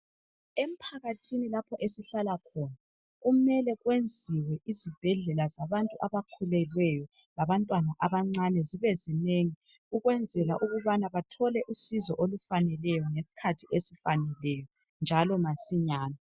Emphakathini lapho esihlala khona kumele kwenziwe izibhedlela zabantu abakhulelweyo labantwana abancane zibe zinengi ukwenzela ukubana bathole usizo olufaneleyo ngesikhathi esifaneleyo njalo masinyane.